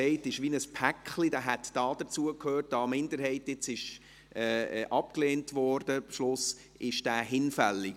Da nun der Beschluss gefasst wurde, den Antrag der Minderheit abzulehnen, ist er damit hinfällig.